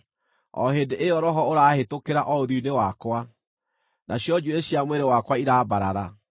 O hĩndĩ ĩyo roho ũraahĩtũkĩra o ũthiũ-inĩ wakwa, nacio njuĩrĩ cia mwĩrĩ wakwa irambarara.